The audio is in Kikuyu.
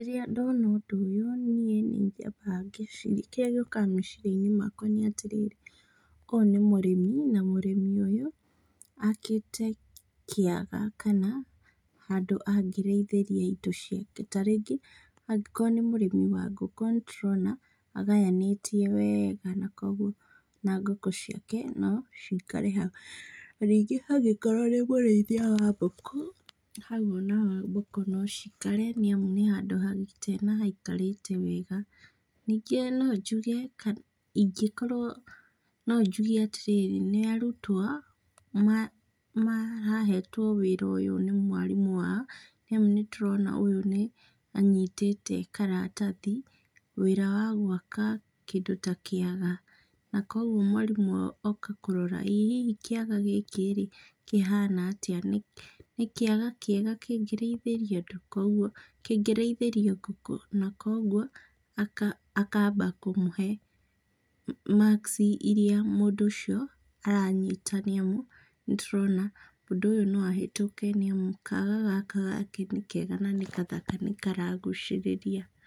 Rĩrĩa ndona ũndũ ũyũ, niĩ nĩnyambaga ngeciria, kĩrĩa gĩũkaga meciria-inĩ makwa nĩ atĩrĩrĩ, ũyũ nĩ mũrĩmi na mũrĩmi ũyũ akĩte kĩaga kana handũ angĩrĩithĩria indo ciake, ta rĩngĩ angĩkorwo nĩ mũrĩmi wa ngũkũ nĩ tũrona agaya nĩtie wega na kũoguo na ngũkũ ciake no cikare hau. Na angĩkorwo nĩ mũrĩithia wa mbũkũ, hau o naho mbũkũ no cikare nĩ amu nĩ handũ hagite na haikarĩte wega. Ningĩ no njuge ingĩkorwo, no njuge atĩrĩrĩ nĩ arutwo marahetwo wĩra ũyũ nĩ mwarimũ wao nĩamu nĩtũrona ũyũ nĩ anyitĩte karatathi, wĩra wa gwaka kĩndũ ta kĩaga na kũoguo mwarimũ oka kũrora ĩ hihi kĩga gĩkĩ-rĩ kĩhana atĩa, nĩ kĩaga kĩega kĩrĩithĩrio ũndũ, kĩngĩrĩithĩrio ngũkũ, na kũoguo akamba kũmũhe makici iria mũndũ ũcio aranyita nĩamu nĩtũrona mũndũ ũyũ no ahetũke nĩamu kaga gaka gake nĩ kega na nĩ gathaka na nĩkaragucĩrĩria.